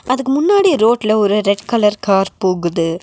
அதுக்கு முன்னாடி ரோட்ல ஒரு ரெட் கலர் கார் போகுது.